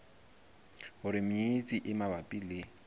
hore menyenyetsi e mabapi le